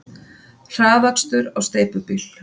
Hraðakstur á steypubíl